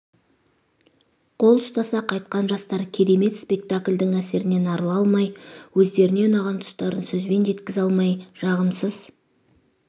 қол ұстаса қайтқан жастар керемет спектаклъдің әсерінен арыла алмай өздеріне ұнаған тұстарын сөзбен жеткізе алмай жағымсыз